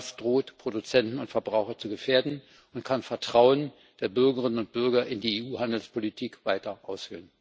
Das droht Produzenten und Verbraucher zu gefährden und kann das Vertrauen der Bürgerinnen und Bürger in die EU Handelspolitik weiter aushöhlen.